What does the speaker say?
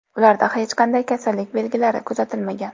Ularda hech qanday kasallik belgilari kuzatilmagan.